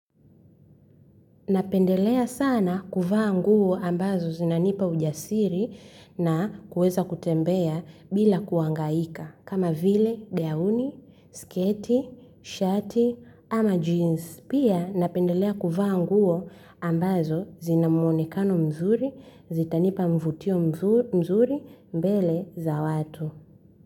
Napendelea sana kuvaa nguo ambazo zinanipa ujasiri na kuweza kutembea bila kuhangaika, kama vile gauni, sketi, shati, ama jeans. Pia napendelea kuvaa nguo ambazo zinamuonekano mzuri, zitanipa mvutio mzuri mbele za watu.